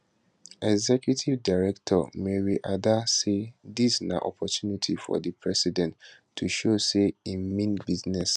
executive director mary adda say dis na opportunity for di president to show say im mean business